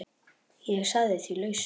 Ég sagði því lausu.